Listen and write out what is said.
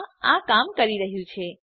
હા આ કામ કરી રહ્યું છે